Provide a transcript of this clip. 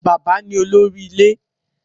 Bàbá ní olórí ilé.